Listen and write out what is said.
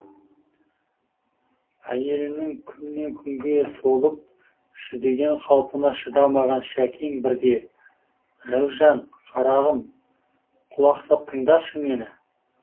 әйелінің күннен күнге солып жүдеген қалпына шыдамаған шәкең бірде рәужан қарағым құлақ сап тыңдашы мені